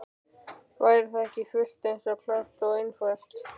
Væri það ekki fullt eins klárt og einfalt?